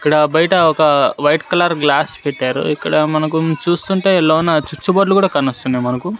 ఇక్కడ బయట ఒక వైట్ కలర్ గ్లాస్ పెట్టారు ఇక్కడ మనకు చూస్తుంటే లోన చుచు బోర్డ్లు కూడా కానొస్తున్నాయి మనకు.